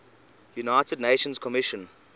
united nations commission